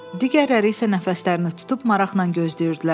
Digərləri isə nəfəslərini tutub maraqla gözləyirdilər.